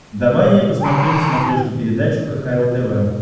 давай я посмотрю на смотрешке передачу кхл тв